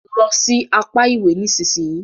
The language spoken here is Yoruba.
Lọ sì apá ìwé nísìsiyìí!